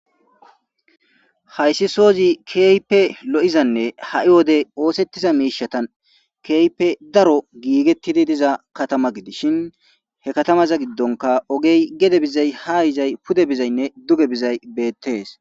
haysi soozi kehipe lo'izanne ha'i wode osettiza mishatan kehipe daro gigetidi diza katama gidishin he katamaza gidonka ogey gede bizay ha yizay pude bizaynne duge bizay betes.